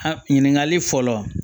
Ha ɲininkali fɔlɔ